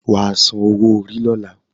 Wà á san owó-orí lọ́la